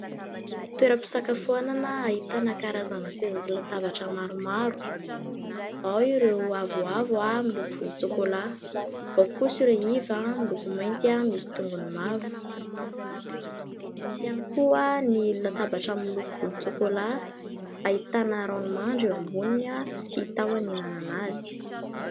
Toeram-pisakafoanana ahitana karazana seza sy latabatra maromaro. Ao ireo avoavo miloko volon-tsokolà, ao kosa ireo iva miloko mainty, misy tongony mavo. Misy ihany koa ny latabatra miloko volon-tsokolà ahitana ronono mandry eo amboniny sy tahony ihinanana azy.